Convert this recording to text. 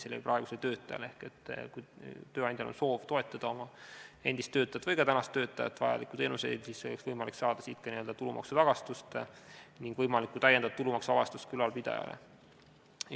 Ehk kui tööandjal on soov toetada oma endist või ka praegust töötajat vajaliku teenusega, siis oleks tal võimalik saada siit tulumaksutagastust ning täiendava tulumaksuvabastuse saaks ka ülalpidaja.